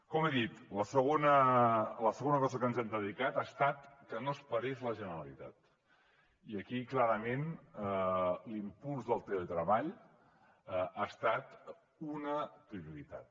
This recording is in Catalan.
com he dit a la segona cosa a què ens hem dedicat ha estat que no es parés la generalitat i aquí clarament l’impuls del teletreball ha estat una prioritat